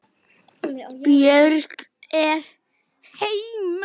Björg er heima.